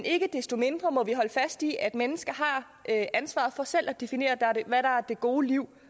ikke desto mindre holde fast i at mennesker har ansvaret for selv at definere hvad der er det gode liv